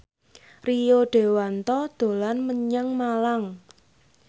Rio Dewanto dolan menyang Malang